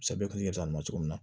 Sɛbɛ tun ye gɛlɛya ma cogo min na